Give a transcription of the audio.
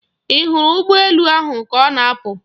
Ị hụrụ ụgbọ elu ahụ ka ọ na-apụ?